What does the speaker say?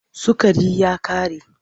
Sukari ya ƙare.